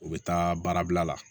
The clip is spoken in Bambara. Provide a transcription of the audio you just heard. U bɛ taa baarabila la